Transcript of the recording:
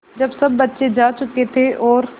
जब सब बच्चे जा चुके थे और